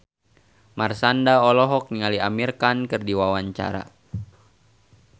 Marshanda olohok ningali Amir Khan keur diwawancara